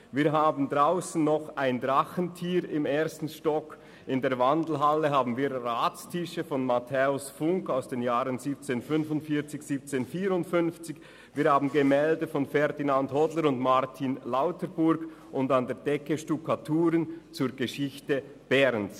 Im ersten Stock haben wir das «Drachentier», in der Wandelhalle Ratstische von Mathäus Funk aus den Jahren 1745 und 1754, Gemälde von Ferdinand Hodler und Martin Lauterburg und an der Decke Stuckaturen zur Geschichte Berns.